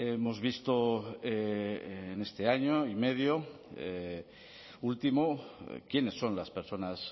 hemos visto en este año y medio último quiénes son las personas